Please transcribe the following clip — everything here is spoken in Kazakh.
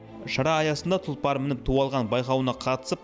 шара аясында тұлпар мініп ту алған байқауына қатысып